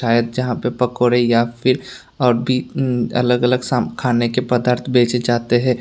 शायद जहां पे पकौड़ी या फिर और भी अलग अलग खाने के पदार्थ बेचे जाते है।